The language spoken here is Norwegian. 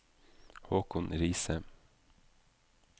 Haakon Riise